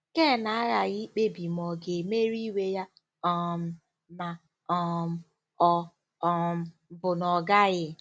Ken aghaghị ikpebi ma ọ̀ ga-emeri iwe ya um ma um ọ um bụ na ọ gaghị.